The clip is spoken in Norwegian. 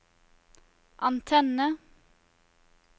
antenne